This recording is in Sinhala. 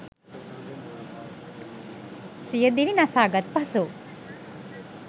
සියදිවි නසාගත් පසු